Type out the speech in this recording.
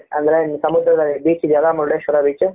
ಅಂದ್ರೆ ಸಮುದ್ರದ beach ಇದೆಯಲ್ಲ ಮುರುಡೇಶ್ವರ beach ಹೂ